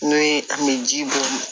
N'o ye an bɛ ji bɔn